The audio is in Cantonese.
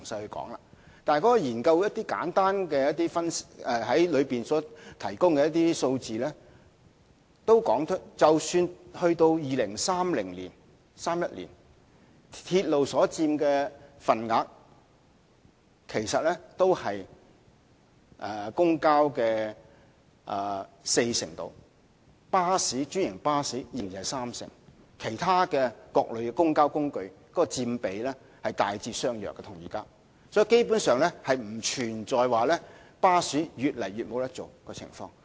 不過，《報告》提供了一些簡單數字，指出即使到了2031年，鐵路所佔的份額其實只是公共交通的四成左右，專營巴士則仍然是三成，而其他各類公共交通工具所佔的比例與現時的大致相若，因此基本上不存在巴士無法經營的情況。